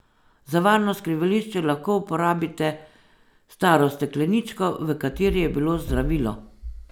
Za varno skrivališče lahko uporabite staro stekleničko, v kateri je bilo zdravilo.